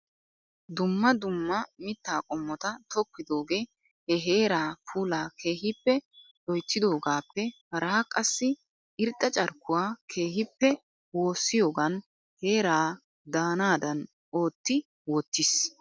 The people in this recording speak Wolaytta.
Dumma dumma mittaa qomota tokkidoogee he heeraa puulaa keehippe lot=yttidogaappe haraa qassi irxxa carkkuwaa keehippe woossiyoogan heeraa daanadan ootti wottiis!